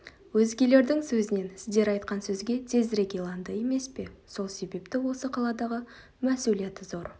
өзгелердің сөзінен сіздер айтқан сөзге тезірек иланды емес пе сол себепті осы қаладағы мәсулияті зор